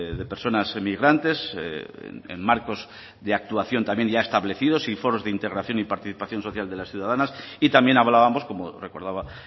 de personas emigrantes en marcos de actuación también ya establecidos y foros de integración y participación social de las ciudadanas y también hablábamos como recordaba